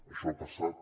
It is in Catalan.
això ha passat